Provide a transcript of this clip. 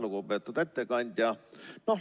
Lugupeetud ettekandja!